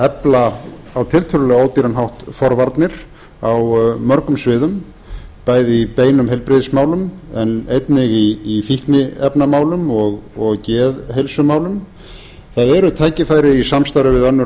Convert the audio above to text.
efla á tiltölulega ódýran hátt forvarnir á mörgum sviðum bæði í beinum heilbrigðismálum en einnig í fikniefnamálum og geðheilsumálum það eru tækifæri í samstarfi við önnur